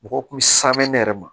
Mɔgɔw kun bɛ simɛn ne yɛrɛ ma